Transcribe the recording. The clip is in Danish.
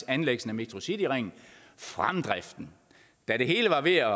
anlæggelse af metrocityringen fremdriften da det hele var ved at